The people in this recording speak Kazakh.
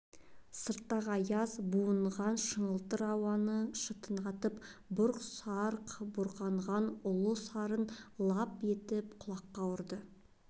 сырттағы аяз буған шыңылтыр ауаны шытынатып бұрқ-сарқ буырқанған ұлы сарын лап етіп құлаққа ұрды